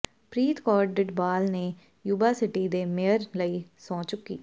ਪ੍ਰੀਤ ਕੌਰ ਡਿਡਬਾਲ ਨੇ Yuba City ਦੇ mayor ਲਈ ਸਹੁੰ ਚੁੱਕੀ